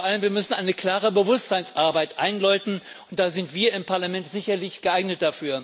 Vor allem müssen wir eine klare Bewusstseinsarbeit einläuten, und dafür sind wir im Parlament sicherlich geeignet.